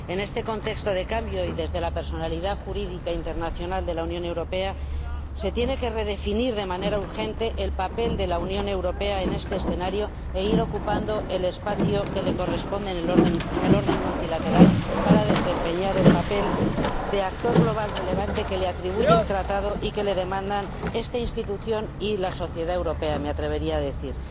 En este contexto de cambio, y desde la personalidad jurídica internacional de la Unión Europea, se tiene que redefinir de manera urgente el papel de la Unión Europea en este escenario e ir ocupando el espacio que le corresponde en el orden multilateral para desempeñar el papel de actor global relevante que le atribuye el Tratado y que le demandan esta institución, y la sociedad europea me atrevería a decir